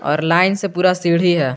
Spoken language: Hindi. और लाइन से पूरा सीढ़ी है।